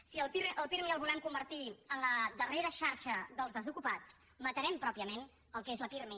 si el pirmi el volem convertir en la darrera xarxa dels desocupats matarem pròpiament el que és la pirmi